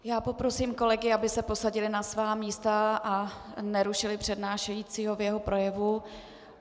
Já poprosím kolegy, aby se posadili na svá místa a nerušili přednášejícího v jeho projevu.